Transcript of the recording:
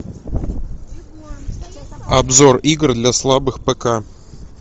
обзор игр для слабых пк